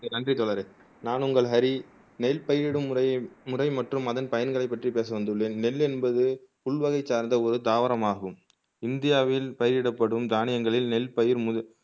நன்றி தலைவரே நான் உங்காள் ஹரி நெல் பயிரிடும் முறை மற்றும் அதன் பயங்களை பற்றி பேச வந்துள்ளேன் நெல் என்பது புல் வகை சார்ந்த ஒரு தாவரமாகும் இந்தியாவில் பயிரிடப்படும் தானியங்களில் நெல் பயிர் முத